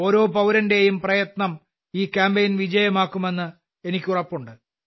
ഓരോ പൌരന്റേയും പ്രയത്നം ഈ കാമ്പയിൻ വിജയകരമാക്കുമെന്ന് എനിക്ക് ഉറപ്പുണ്ട്